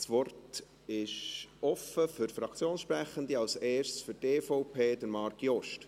Das Wort ist offen für Fraktionssprechende, zuerst für die EVP, Marc Jost.